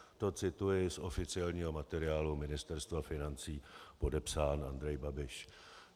To cituji z oficiálního materiálu Ministerstva financí, podepsán Andrej Babiš.